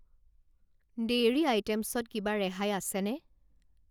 Dairy আইটেমছত কিবা ৰেহাই আছেনে?